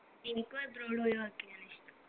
എനിക്കും abroad പോയി work എയ്യാനാ ഇഷ്ടം